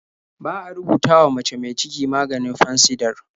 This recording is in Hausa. Ba a rubutawa mace mi ciki maganin Fansidar.